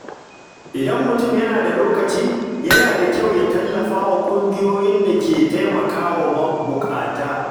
Idan mutum yana da lokaci, yana da kyau ya tallafa wa ƙungiyoyin da ke taimaka wa mabuƙata.